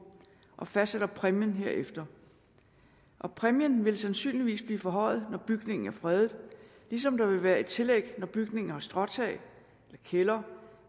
og fastsætter præmien herefter og præmien vil sandsynligvis blive forhøjet når bygningen er fredet ligesom der vil være et tillæg når bygninger har stråtag eller kælder